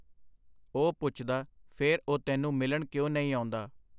ਉਹ ਪੁੱਛਦਾ, ਫੇਰ ਉਹ ਤੈਨੂੰ ਮਿਲਣ ਕਿਉਂ ਨਹੀਂ ਆਉਂਦਾ?.